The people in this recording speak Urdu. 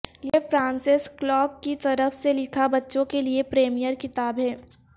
یہ فرانسس کلارک کی طرف سے لکھا بچوں کے لئے پریمر کتاب ہے